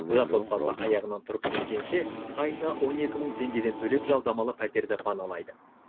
жас отбасы аяғынан тұрып кеткенше айына он екі мың теңгеден төлеп жалдамалы пәтерді паналайды